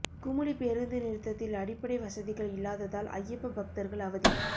குமுளி பேருந்து நிறுத்தத்தில் அடிப்படை வசதிகள் இல்லாததால் ஐயப்ப பக்தா்கள் அவதி